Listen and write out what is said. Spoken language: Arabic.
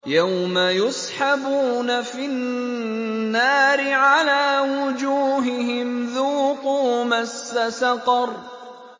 يَوْمَ يُسْحَبُونَ فِي النَّارِ عَلَىٰ وُجُوهِهِمْ ذُوقُوا مَسَّ سَقَرَ